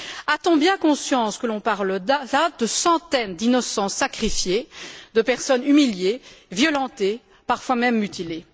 A t on bien conscience que l'on parle de centaines d'innocents sacrifiés, de personnes humiliées, violentées, parfois même mutilées?